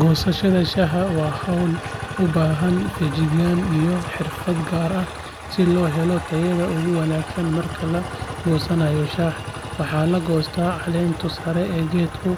Goosashada shaaha waa hawl u baahan feejignaan iyo xirfad gaar ah si loo helo tayada ugu wanaagsan marka la goosanayo shaaha waxaa la goostaa caleenta sare ee geedka